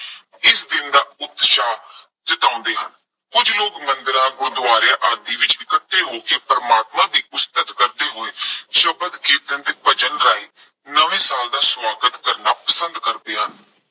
ਜਤਾਉਂਦੇ ਹਨ। ਕੁੱਝ ਲੋਕ ਮੰਦਿਰਾਂ ਗੁਰਦੁਆਰਿਆਂ ਆਦਿ ਵਿੱਚ ਇਕੱਠੇ ਹੋ ਕੇ ਪ੍ਰਮਾਤਮਾ ਦੀ ਉਸਤਤ ਕਰਦੇ ਹੋਏ ਸ਼ਬਦ ਕੀਰਤਨ, ਭਜਨ ਗਾਇਨ, ਨਵੇਂ ਸਾਲ ਦਾ ਸਵਾਗਤ ਕਰਨਾ ਪਸੰਦ ਕਰਦੇ ਹਨ।